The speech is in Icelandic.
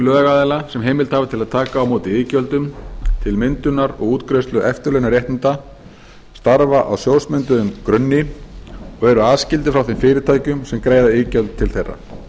lögaðila sem heimild hafa til að taka á móti iðgjöldum til myndunar og útgreiðslu eftirlaunaréttinda starfa á sjóðsmynduðum grunni og eru aðskildir frá þeim fyrirtækjum sem greiða iðgjöld til þeirra